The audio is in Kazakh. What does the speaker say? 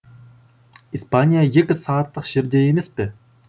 испания екі сағаттық жерде емес пе